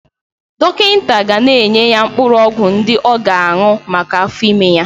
Dọkịta ga-enye ya mkpụrụ ọgwụ ndị ọ ga-aṅụ maka afọ ime ya.